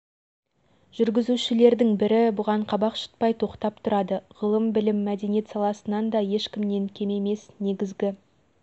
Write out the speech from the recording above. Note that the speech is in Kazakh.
олар канада франция германия италия голландия испания ұлыбритания түркия жапония тағы басқа азия африка елдері